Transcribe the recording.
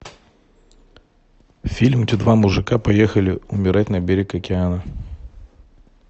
фильм где два мужика поехали умирать на берег океана